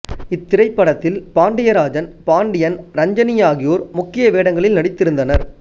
இத்திரைப்படத்தில் பாண்டியராஜன் பாண்டியன் இரஞ்சினி ஆகியோர் முக்கிய வேடங்களில் நடித்திருந்தனர்